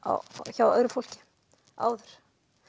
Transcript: hjá öðru fólki áður